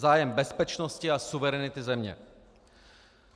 Zájem bezpečnosti a suverenity země.